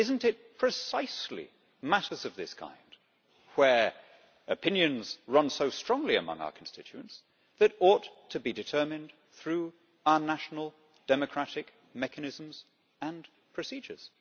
Is it not precisely matters of this kind, in which opinions run so strongly among our constituents, that ought to be determined through our national democratic mechanisms and procedures?